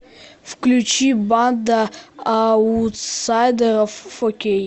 включи банда аутсайдеров фо кей